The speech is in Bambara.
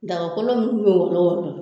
Dagakolon munnu bɛ